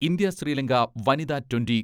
India Sri Lanka വനിത twenty